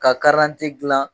Ka gilan